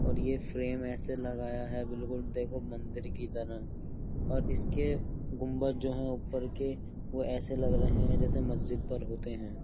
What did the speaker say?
और ये फ्रेम ऐसे लगाया है बिल्कुल देखो मंदिर की तरह और इसके गुंबद जो हैं ऊपर के वो ऐसे लग रहे हैं जैसे मस्जिद पर होते हैं।